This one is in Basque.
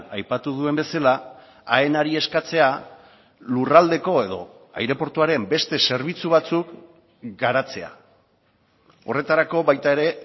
aipatu duen bezala aenari eskatzea lurraldeko edo aireportuaren beste zerbitzu batzuk garatzea horretarako baita ere